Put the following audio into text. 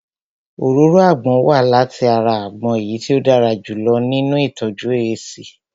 Òróró àgbon wá láti ara àgbon èyí tí ó dára jù lọ nínu ìtọ́jú èéṣí